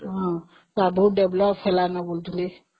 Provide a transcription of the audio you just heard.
ହଁବହୁତ develop ହେଲାଣି ବୋଲି ଶୁଣୁଥିଲି